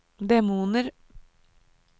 demoner